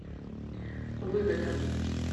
выгода